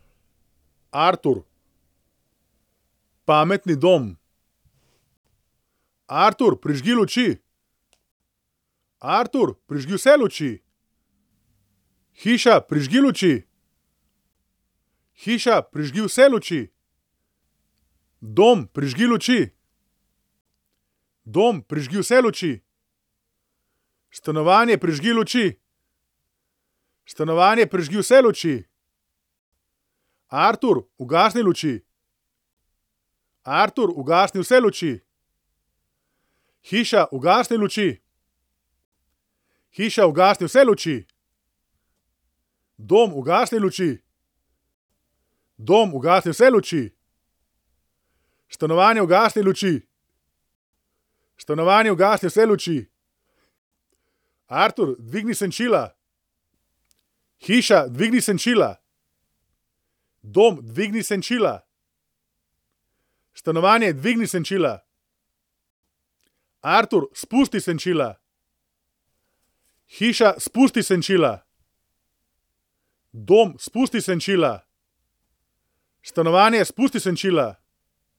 Artur. Pametni dom. Artur, prižgi luči. Artur, prižgi vse luči. Hiša, prižgi luči. Hiša, prižgi vse luči. Dom, prižgi luči. Dom, prižgi vse luči. Stanovanje, prižgi luči. Stanovanje, prižgi vse luči. Artur, ugasni luči. Artur, ugasni vse luči. Hiša, ugasni luči. Hiša, ugasni vse luči. Dom, ugasni luči. Dom, ugasni vse luči. Stanovanje, ugasni luči. Stanovanje, ugasni vse luči. Artur, dvigni senčila. Hiša, dvigni senčila. Dom, dvigni senčila. Stanovanje, dvigni senčila. Artur, spusti senčila. Hiša, spusti senčila. Dom, spusti senčila. Stanovanje, spusti senčila.